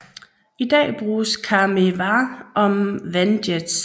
I dag bruges KaMeWa om vandjets